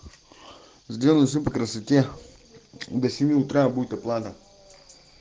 сделай сам по красоте до семи утра будет оплата